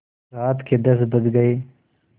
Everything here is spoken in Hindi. रात के दस बज गये